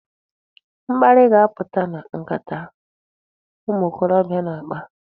Mkparị ga-apụta na nkata a ụmụ okorobịa na-akpa.